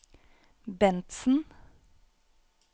Bentzen